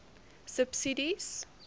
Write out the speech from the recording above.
subsidies